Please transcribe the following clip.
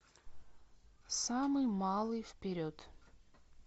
самый малый вперед